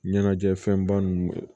Ɲɛnajɛ fɛn ba ninnu